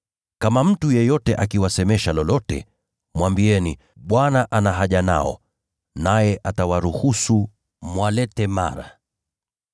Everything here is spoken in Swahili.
Kama mtu yeyote akiwasemesha lolote, mwambieni kwamba Bwana ana haja nao, naye atawaruhusu mwalete mara.”